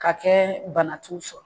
Ka kɛ bana t'u sɔrɔ